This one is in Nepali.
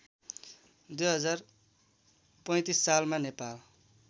२०३५ सालमा नेपाल